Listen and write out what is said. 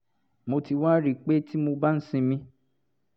mo ti wá rí i pé tí mo bá ń sinmi